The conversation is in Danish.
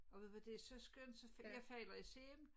Og ved du hvad det er så skønt så jeg falder i søvn